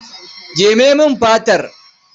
Jeme min fatar.